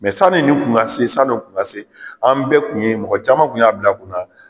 sanni ni kun ka se sann'o kun ka se an bɛɛ kun ye mɔgɔ caman kun y'a bila kunna.